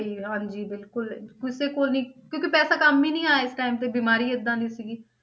ਸਹੀ ਹਾਂਜੀ ਬਿਲਕੁਲ ਕਿਸੇ ਕੋਲ ਨੀ ਕਿਉਂਕਿ ਪੈਸਾ ਕੰਮ ਹੀ ਨੀ ਆਇਆ ਇਸ time ਤੇ ਬਿਮਾਰੀ ਏਦਾਂ ਦੀ ਸੀਗੀ।